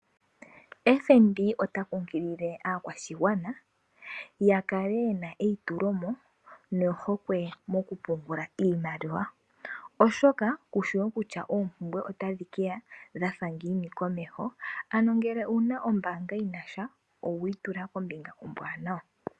FNB ota kunkilile aakwashigwana ya kale ye na eyitulomo nohokwe mokupungula iimaliwa oshoka kushiwo kutya oompumbwe otadhi keya dha fa ngiini komeho, ano ngele owuna ombaamga yinasha owiitula kombinga ombwanawa.